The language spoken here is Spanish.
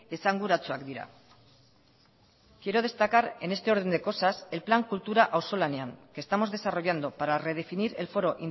esanguratsuak dira quiero destacar en este orden de cosas el plan kultura auzolanean que estamos desarrollando para redefinir el foro